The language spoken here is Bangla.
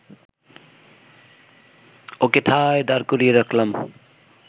ওকে ঠায় দাঁড় করিয়ে রাখলাম